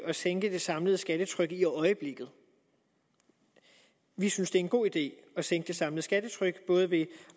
at sænke det samlede skattetryk i øjeblikket vi synes det er en god idé at sænke det samlede skattetryk både ved